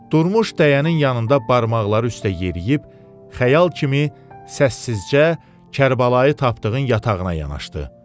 Durmuş dəyənin yanında barmaqları üstə yeriyib xəyal kimi səssizcə Kərbəlayı tapdığın yatağına yanaşdı.